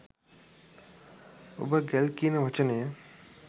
ඔබ ගැල් කියන වචනය